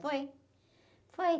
Foi. Foi...